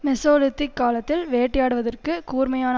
Mesolithic காலத்தில் வேட்டையாடுவதற்கு கூர்மையான